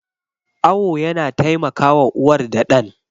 Awo yana taimakawa uwar da ɗan.